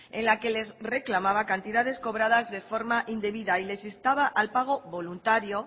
en la que les reclamaba cantidades cobradas de forma indebida y les instaba al pago voluntario